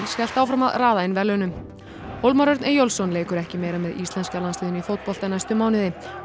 hélt áfram að raða inn verðlaunum hólmar Örn Eyjólfsson leikur ekki meira með íslenska landsliðinu í fótbolta næstu mánuði